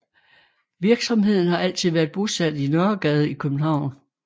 Virksomheden har altid været bosat i Nørregade i København